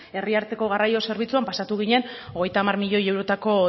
herri arteko garraio zerbitzuan pasatu ginen hogeita hamar miloi eurotako